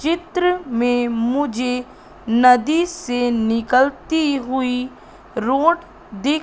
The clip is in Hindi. चित्र में मुझे नदी से निकलती हुई रोड दिख--